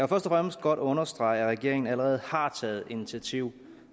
og fremmest godt understrege at regeringen allerede har taget initiativ